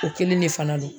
O kelen de fana don